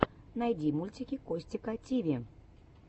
найти мультики костика тиви